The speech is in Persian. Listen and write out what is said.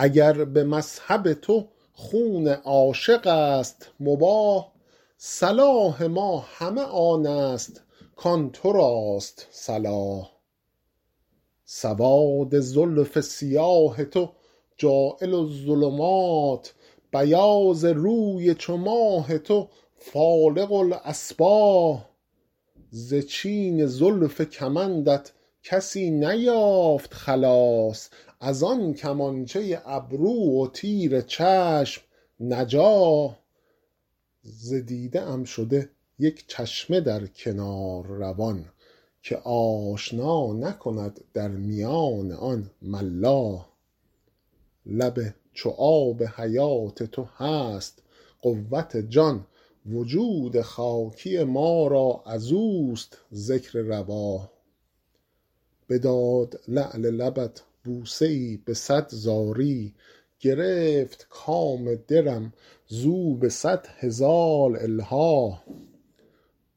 اگر به مذهب تو خون عاشق است مباح صلاح ما همه آن است کآن تو راست صلاح سواد زلف سیاه تو جاعل الظلمات بیاض روی چو ماه تو فالق الأصباح ز چین زلف کمندت کسی نیافت خلاص از آن کمانچه ابرو و تیر چشم نجاح ز دیده ام شده یک چشمه در کنار روان که آشنا نکند در میان آن ملاح لب چو آب حیات تو هست قوت جان وجود خاکی ما را از اوست ذکر رواح بداد لعل لبت بوسه ای به صد زاری گرفت کام دلم زو به صد هزار الحاح